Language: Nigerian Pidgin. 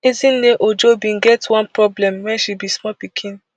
ezinne ojo bin get one problem wen she be small pikin